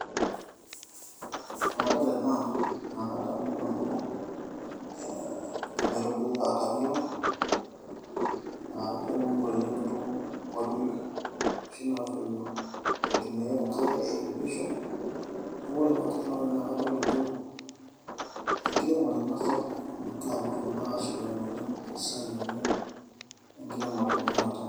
Tenadol ena naa kadamu nanu ekaitubului e watermelon naa keuni oleng too nkuapi eitumia enkare e irrigation neaku eeh kengira iltunganak aashipakino oleng enasiai